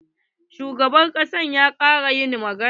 Shugaban ƙasa ya ƙare yin magana?